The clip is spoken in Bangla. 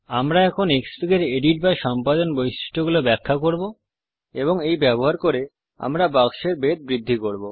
আমরা এখন ক্সফিগ এর এডিট বা সম্পাদন বৈশিষ্ট্যগুলো ব্যাখ্যা করব এবং এই ব্যবহার করে আমরা বাক্সের বেধ বৃদ্ধি করব